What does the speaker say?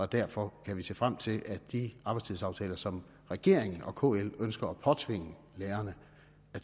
derfor kan se frem til at de arbejdstidsaftaler som regeringen og kl ønsker at påtvinge lærerne